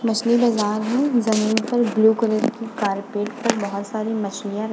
मछली बाजार है। जमीन पर ब्लू कलर की कारपेट पे बहोत सारी मछलीयाँ र --